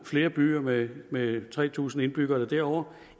flere byer med med tre tusind indbyggere eller derover